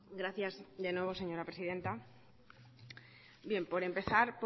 gracias de nuevo señora presidenta bien por empezar